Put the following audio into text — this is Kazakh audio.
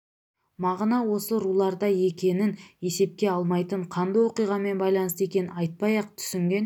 мағына осы руларда екенін есепке алмайтын қанды оқиғамен байланысты екенін айтпай-ақ түсінген